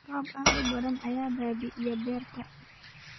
Roob aad u badan ayaa baabi'iya beerta